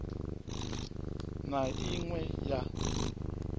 na i ṅ we ya